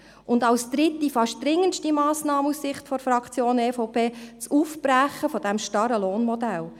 Und als dritte, fast dringendste Massnahme aus Sicht der Fraktion EVP braucht es das Aufbrechen des starren Lohnmodells.